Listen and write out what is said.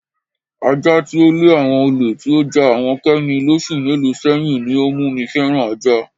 Aja tí ó le àwo̩n olè tí ó ja àwo̩n Ké̩mi lós̩ù mélòó sé̩yìn ní ó mú mi fé̩ran ajá.